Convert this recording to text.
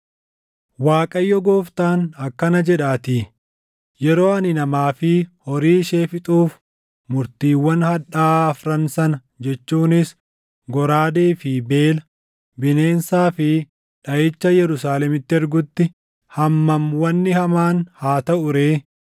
“ Waaqayyo Gooftaan akkana jedhaatii: Yeroo ani namaa fi horii ishee fixuuf murtiiwwan hadhaaʼaa afran sana jechuunis goraadee fi beela, bineensaa fi dhaʼicha Yerusaalemitti ergutti hammam wanni hamaan haa taʼu ree!